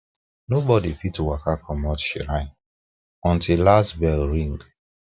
nobody fit waka commot shrine until last bell ring